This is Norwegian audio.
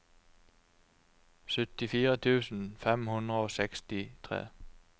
syttifire tusen fem hundre og sekstitre